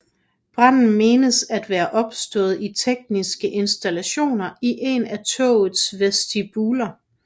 Branden menes at være opstået i tekniske installationer i en af togets vestibuler